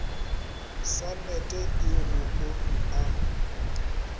swanet e go omi a